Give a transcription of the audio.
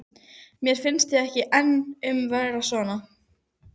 Flaskan verður fótakefli flestum þeim sem hana tæma.